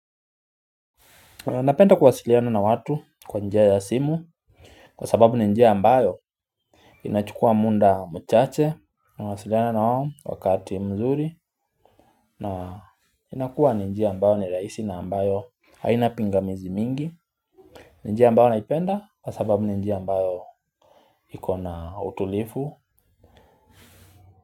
Napenda kuwasiliana na watu kwa njia ya simu kwa sababu ni njia ambayo inachukua muda mchache nawasiliana nao wakati mzuri na inakuwa ni njia ambayo ni rahisi na ambayo haina pingamizi mingi. Ni njia ambayo naipenda kwa sababu ni njia ambayo iko na utulivu.